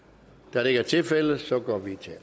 da det ikke er tilfældet går vi til